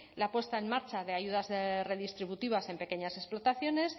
la puesta en marcha de ayudas redistributivas en pequeñas explotaciones